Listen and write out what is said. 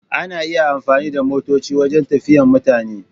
Ana iya amfani da motoci wajen tafiyan mutane.